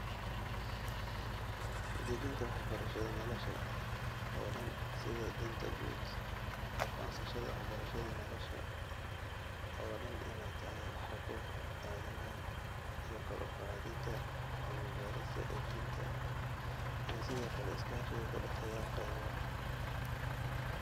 Dejinta waxbarashada nolosha oo dhan sida danta guud, aqoonsashada waxbarashada nolosha oo dhan inay tahay xuquuq aadanaha, iyo kor u qaadida cilmi-baarista edbinta iyo sidoo kale iskaashiga ka dhexeeya qaybaha.